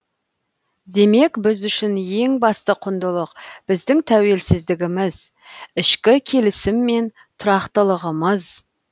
демек біз үшін ең басты құндылық біздің тәуелсіздігіміз ішкі келісім мен тұрақтылығымыз